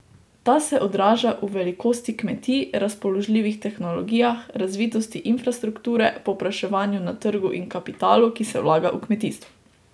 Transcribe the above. Ta se odraža v velikosti kmetij, razpoložljivih tehnologijah, razvitosti infrastrukture, povpraševanju na trgu in kapitalu, ki se vlaga v kmetijstvo.